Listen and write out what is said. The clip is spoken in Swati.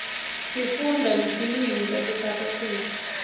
sifunda netilwimitase south africa